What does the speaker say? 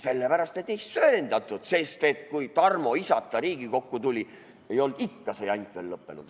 Sellepärast, et ei söandatud, sest kui Tarmo isata Riigikokku tuli, ei olnud see jant ikka veel lõppenud.